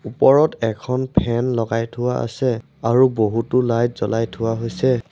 ওপৰত এখন ফেন লগাই থোৱা আছে আৰু বহুতো লাইট জ্বলাই থোৱা হৈছে।